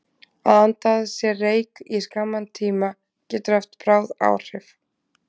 Að anda að sér reyk í skamman tíma getur haft bráð áhrif.